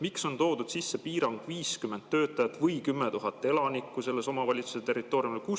Miks on toodud sisse piirang 50 töötajat või 10 000 elanikku selle omavalitsuse territooriumil?